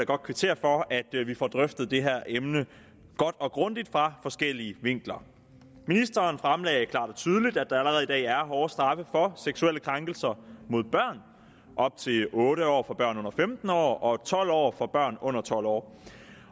godt kvittere for at vi får drøftet det her emne godt og grundigt fra forskellige vinkler ministeren fremlagde klart og tydeligt at der allerede i dag er hårde straffe for seksuelle krænkelser mod børn op til otte år for børn under femten år og tolv år for børn under tolv år